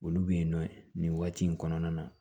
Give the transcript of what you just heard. Olu bɛ yen nɔ nin waati in kɔnɔna na